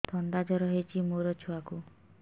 ଥଣ୍ଡା ଜର ହେଇଚି ମୋ ଛୁଆକୁ